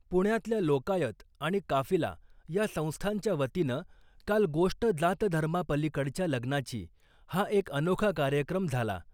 पुण्यातल्या लोकायत आणि काफिला या संस्थांच्या वतीनं काल ' गोष्ट जात धर्मा पलीकडच्या लग्नाची ' हा एक अनोखा कार्यक्रम झाला .